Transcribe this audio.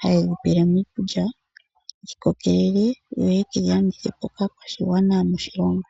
haye dhi pele mo iikulya dhi kokelele yo ye dhi landithe po kaakwashigwana yomoshilongo.